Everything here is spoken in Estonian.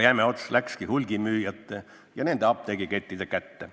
Jäme ots läkski hulgimüüjate ja nende apteegikettide kätte.